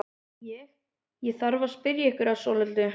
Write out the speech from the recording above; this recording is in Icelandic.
Ég. ég þarf að spyrja ykkur að svolitlu.